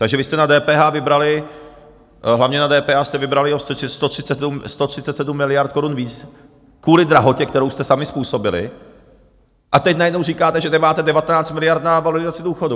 Takže vy jste na DPH vybrali, hlavně na DPH jste vybrali o 137 miliard korun víc kvůli drahotě, kterou jste sami způsobili, a teď najednou říkáte, že nemáte 19 miliard na valorizaci důchodů.